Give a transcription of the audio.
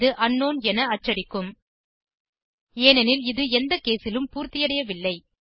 இது அங்க்னவுன் என அச்சடிக்கும் ஏனெனில் இது எந்த caseலும் பூர்த்தியடையவில்லை